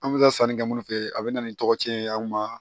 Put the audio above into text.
An bɛ taa sannikɛ minnu fɛ a bɛ na ni tɔgɔci ye anw ma